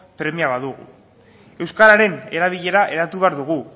premia badugu euskararen erabilera eratu behar dugu